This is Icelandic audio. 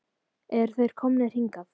Eru þeir komnir hingað?